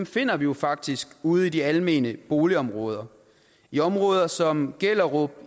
finder vi jo faktisk ude i de almene boligområder i områder som gellerup